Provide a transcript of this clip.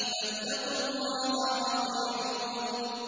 فَاتَّقُوا اللَّهَ وَأَطِيعُونِ